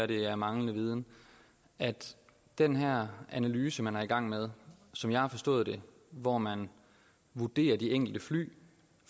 det er manglende viden at den her analyse man er i gang med som jeg har forstået det hvor man vurderer de enkelte fly